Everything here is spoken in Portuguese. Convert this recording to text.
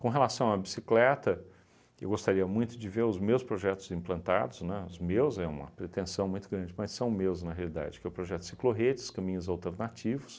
Com relação à bicicleta, eu gostaria muito de ver os meus projetos implantados, né, os meus é uma pretensão muito grande, mas são meus na realidade, que é o projeto ciclorredes, caminhos alternativos,